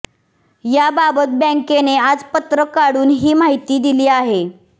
याबाबत बॅंकेने आज पत्रक काढून ही माहिती दिली आहे